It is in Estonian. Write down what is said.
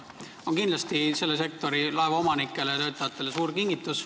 See on kindlasti selle sektori laevaomanikele ja töötajatele suur kingitus.